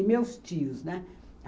E meus tios, né?